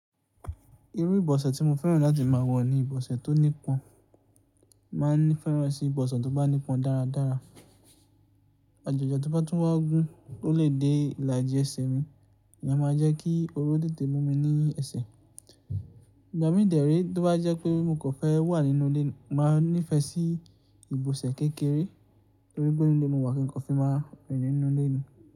Irú ìbọ̀sẹ̀ tí mo fẹ́ràn láti máa wọ̀ ni ìbọ̀sẹ̀ tó nípọn. Máa n fẹ́ràn sí ìbọ̀sẹ̀ tó bá nípọn dáradára. Àjàjà tí ó bá tún wá gún, ó lè dé ìlàjì ẹsẹ̀ mi, ìyẹn máa jẹ́ kí oru tètè mú mi ní ẹsẹ̀. Ìgbà mí dẹ re tí ó bá jẹ́ pé mo kan fẹ́ wà nínú ilé, mo màá n nífẹ̀ẹ́ sí ìbọ̀sẹ̀ kékeré, torí pé inu ilé mo wà kí n kò fi máa rìn nínú ilé mi.